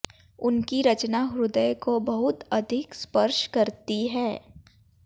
उनकी रचना हृदय को बहुत अधिक स्पर्श करती है